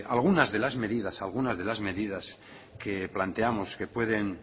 algunas de las medidas que planteamos que pueden